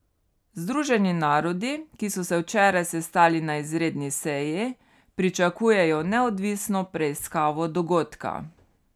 Združeni narodi, ki so se včeraj sestali na izredni seji, pričakujejo neodvisno preiskavo dogodka.